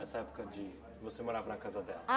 Essa época de você morava na casa dela?